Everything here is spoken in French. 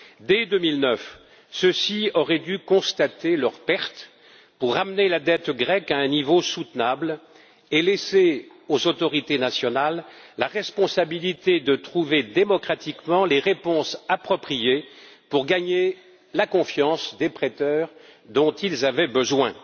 Dès 2009, ceux ci auraient dû constater leurs pertes pour ramener la dette grecque à un niveau soutenable et laisser aux autorités nationales la responsabilité de trouver démocratiquement les réponses appropriées pour gagner la confiance des prêteurs dont ils avaient besoin.